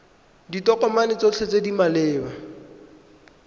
ditokomane tsotlhe tse di maleba